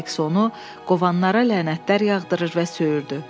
Sayks onu qovanlara lənətlər yağdırır və söyürdü.